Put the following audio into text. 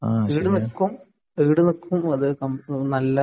ഈടു നിൽക്കും ഈടു നില്കും